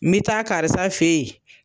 N bi taa karisa fɛ yen